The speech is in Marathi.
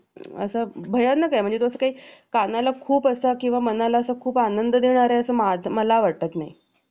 भयानक आहे म्हणजे तो असा काही कानाला असा खूप असा किंवा मनाला खूप आनंद देणार आहे असं मला वाटत नाही